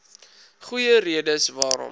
goeie redes waarom